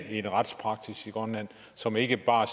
en retspraksis i grønland som ikke bare